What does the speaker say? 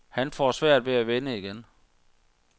Han får svært ved at vinde igen.